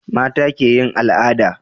mata ke yin al'ada